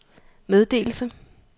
meddelelse